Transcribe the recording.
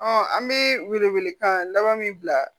an bɛ wele wele kan laban min bila